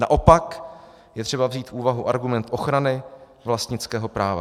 Naopak je třeba vzít v úvahu argument ochrany vlastnického práva.